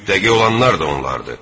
Müttəqi olanlar da onlardır.